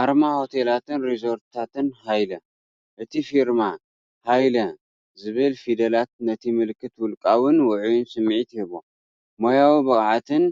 ኣርማ ሆቴላትን ሪዞርታትን ሃይለ፣ እቲ ፊርማ "ሃይለ" ዝብል ፊደላት ነቲ ምልክት ውልቃውን ውዑይን ስምዒት ይህቦ። ሞያዊ ብቕዓትን